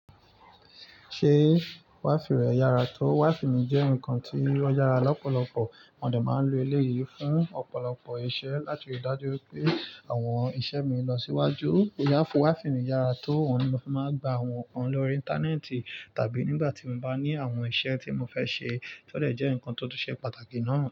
Ṣé wifi rẹ yára tó? Wifi mi jẹ́ ǹkan tí ó yára lọ́pọ̀lọpọ̀. Mo dè máa ń lo eléyìí fún ọ̀pọ̀lọpọ̀ iṣẹ́ láti rí dájú wipé àwọn iṣẹ́ mi ń lọ síwájú. Òyà fún Wi-Fi mi yára tó, oun ni mofi máa ń gba àwọn nǹkan lórí Íńtánẹ́ẹ̀tì tàbí nígbà tí mo bá ní àwọn iṣẹ́ tí mo fẹ́ ṣe. Ó dẹ jẹ́ ǹkan tó tun ṣe pàtàkì ná.